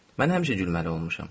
Mən həmişə gülməli olmuşam.